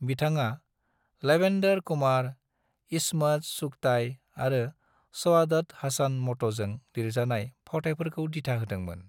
बिथाङा लवेंदर कुमार, इस्मत चुगताई आरो सआदत हसन मंट'जों लिरजानाय फावथायफोरखौ दिथा होदोंमोन।